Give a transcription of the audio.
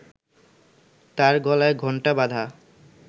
তার গলায় ঘণ্টা বাঁধা